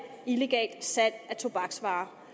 illegalt salg af tobaksvarer